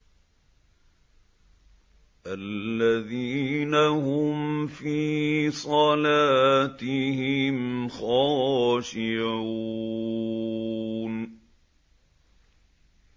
الَّذِينَ هُمْ فِي صَلَاتِهِمْ خَاشِعُونَ